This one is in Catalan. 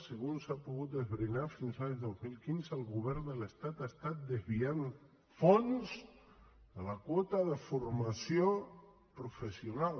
segons s’ha pogut esbrinar fins a l’any dos mil quinze el govern de l’estat ha estat desviant fons en la quota de formació professional